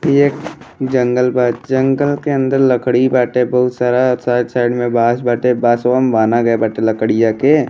इ एक जंगल बा जंगल के अंदर लकड़ी बाटे बहुत सारा साइड-साइड में बांस बाटे बांसवा में बाँधा गईल बाटे लकड़ियां के --